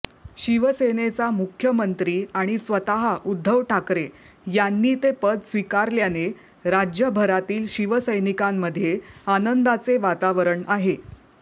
शिवसेनेचा मुख्यमंत्री आणि स्वतः उद्धव ठाकरे यांनी ते पद स्वीकारल्याने राज्यभरातील शिवसैनिकांमध्ये आनंदाचे वातावरण आहे